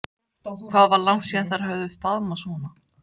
Hvað var langt síðan þær höfðu faðmast svona?